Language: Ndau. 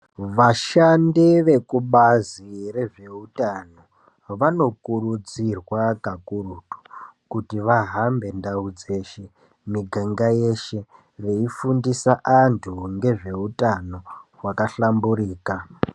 Vashandi vekubazi rezveutano, vanokurudzirwa kakurutu kuti vahambe ndau dzeshe, miganga yeshe ,veifundisa vantu ngezveutano hwakahlamburika.